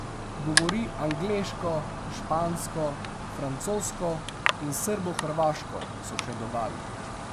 Govori angleško, špansko, francosko in srbohrvaško, so še dodali.